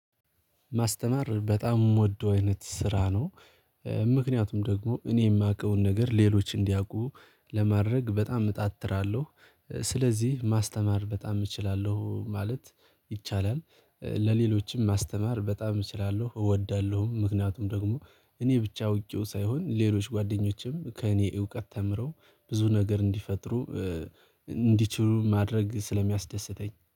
ማስተማር በጣም የምወደው አይነት ስራ ነው። ምክንያቱም ደግሞ እኔ የማውቀውን ነገር ሌሎች እንዲያውቁ ለማድረግ በጣም እጣጥራለሁ ስለዚህ ማስተማር በጣም እችላለሁ ማለት ይቻላል። ለሌሎችም ማስተማር በጣም እችላለሁ እወዳለሁም ምክንያቱም ደግሞ እኔ ብቻ አውቄው ሳይሆን ሌሎች ጓደኞቼም ከእኔ እውቀት ተምረው ብዙ ነገር እንዲፈጥሩ እንዲችሉ ማድረግ ስለሚያስደስተኝ